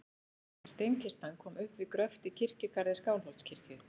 Steinkistan kom upp við gröft í kirkjugarði Skálholtskirkju.